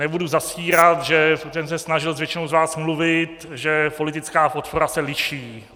Nebudu zastírat, že jsem se snažil s většinou z vás mluvit, že politická podpora se liší.